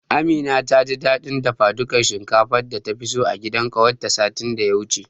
Amina taji dadin dafadukar shinkafar data fi so a gidan kawarta satin daya wuce.